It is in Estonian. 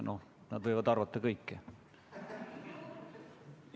No nad võivad arvata kõike.